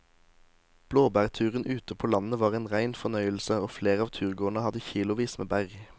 Blåbærturen ute på landet var en rein fornøyelse og flere av turgåerene hadde kilosvis med bær.